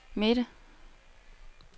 midte